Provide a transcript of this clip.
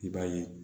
I b'a ye